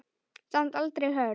Samt aldrei hörð.